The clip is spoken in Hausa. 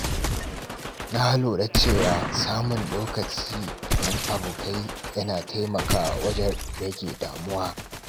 Na lura cewa samun lokaci don abokai yana taimakawa wajen rage damuwa.